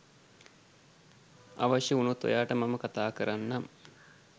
අවශ්‍ය වුණොත් ඔයාට මම කතාකරන්නම්